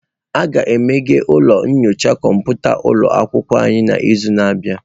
A ga-emeghe ụlọ nyocha kọmputa ụlọ akwụkwọ anyị n'izu na-abịa.